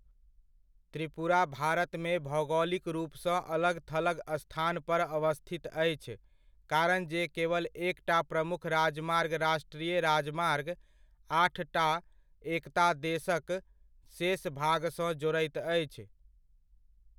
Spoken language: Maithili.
त्रिपुरा भारतमे भौगोलिक रूपसँ अलग थलग स्थान पर अवस्थित अछि, कारण जे केवल एकटा प्रमुख राजमार्ग राष्ट्रीय राजमार्ग आठटा एकता देशक शेष भागसँ जोड़ैत अछि।